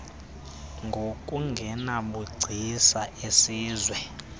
ngokungabi nabugcisa esiziswa